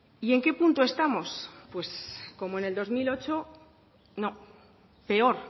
y en qué punto estamos pues como en el dos mil ocho no peor